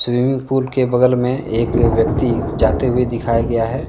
इमिंग pool के बगल में एक व्यक्ति जाते हुए दिखाया गया है।